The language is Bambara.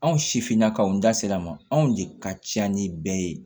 Anw sifinnakaw da sera a ma anw de ka ca ni bɛɛ ye